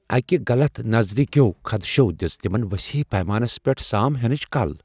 اکہِ غلط نظریہکیو خدشو دِژ تِمن وسیع پیمانس پیٹھ سام ہنٕچ کل ۔